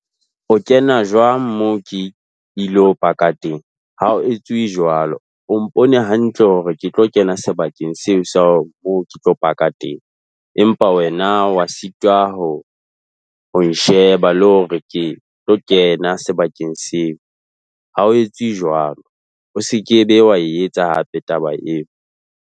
O kena jwang moo ke ilo paka teng? Ha o etsuwe jwalo, o mpone hantle hore ke tlo kena sebakeng seo so mo ke tlo paka teng. Empa wena wa sitwa ho ho nsheba le hore ke tlo kena sebakeng seo. Ha o etse jwalo, o se ke be wa e etsa hape taba eo.